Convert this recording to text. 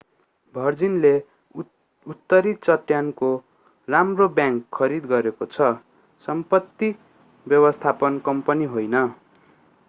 भर्जिनले उत्तरी चट्टानको राम्रो बैंक खरिद गरेको छ सम्पत्ति व्यवस्थापन कम्पनी होइन